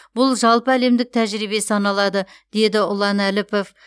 бұл жалпы әлемдік тәжірибе саналады деді ұлан әліпов